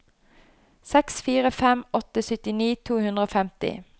seks fire fem åtte syttini to hundre og femti